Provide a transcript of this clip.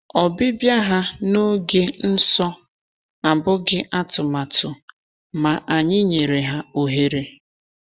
Ọbịbịa ha n’oge nsọ abụghị atụmatụ, ma anyị nyere ha ohere.